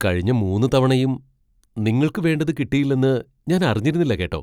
കഴിഞ്ഞ മൂന്ന് തവണയും നിങ്ങൾക്ക് വേണ്ടത് കിട്ടിയില്ലെന്ന് ഞാൻ അറിഞ്ഞിരുന്നില്ല കേട്ടോ.